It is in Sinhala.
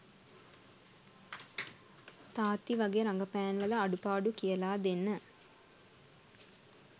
තාත්ති වගේ රඟපෑම්වල අඩුපාඩු කියලා දෙන්න